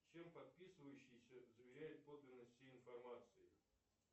чем подписывающийся заверяет подлинность всей информации